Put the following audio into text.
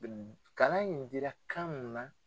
Kalan in dira kan mun na.